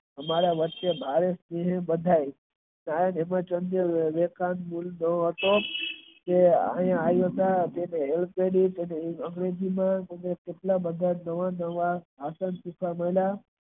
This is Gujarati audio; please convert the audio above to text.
અમારા વચ્ચે ભાઈ ને બધાય તે આવિયા હતા